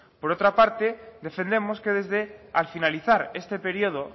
por otra parte defendemos que al finalizar este periodo